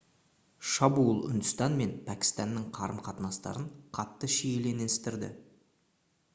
шабуыл үндістан мен пәкістанның қарым-қатынастарын қатты шиеленістірді